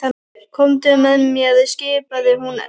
Komdu með mér skipaði hún Erni.